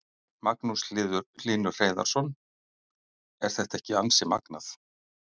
Magnús Hlynur Hreiðarsson: Er þetta ekki ansi magnað?